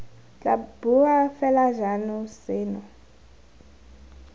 tla boa fela jalo seno